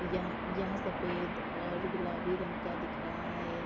यह यह सफेद और गुलाबी रंग का दिख रहा है।